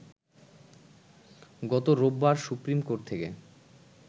গত রোববার supreme court থেকে